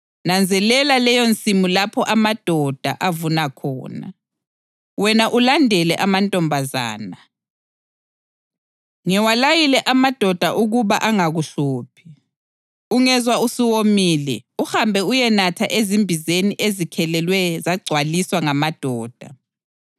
Nanzelela leyonsimu lapho amadoda avuna khona, wena ulandele amantombazana. Ngiwalayile amadoda ukuba angakuhluphi. Ungezwa usuwomile, uhambe uyenatha ezimbizeni ezikhelelwe zagcwaliswa ngamadoda.”